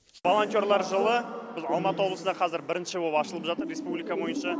волонтерлар жылы біз алматы облысында қазір бірінші боп ашылып жатыр республика бойынша